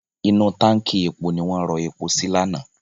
Inú táǹkì epo ni wọ́n rọ epo sí lánàá.